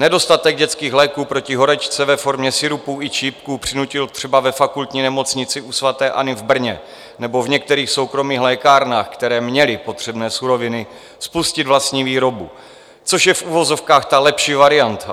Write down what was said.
Nedostatek dětských léků proti horečce ve formě sirupů i čípků přinutil třeba ve Fakultní nemocnici u sv. Anny v Brně nebo v některých soukromých lékárnách, které měly potřebné suroviny, spustit vlastní výrobu, což je v uvozovkách ta lepší varianta.